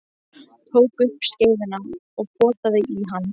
Tók upp skeiðina og potaði í hann.